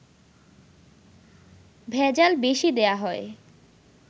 ভেজাল বেশি দেয়া হয়